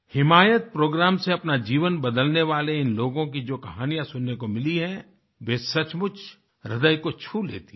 हिमायत programme से अपना जीवन बदलने वाले इन लोगों की जो कहानियां सुनने को मिली हैं वे सचमुच ह्रदय को छू लेती हैं